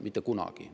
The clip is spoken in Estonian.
Mitte kunagi.